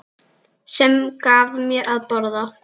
Sem gaf mér að borða.